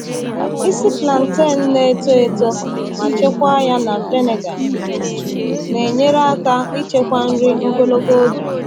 Ịsi plantain na-eto eto ma chekwaa ya na vinegar na-enyere aka ichekwa nri ogologo oge.